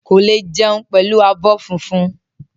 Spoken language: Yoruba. Ko le jẹun pẹlú abọ́ fúnfún.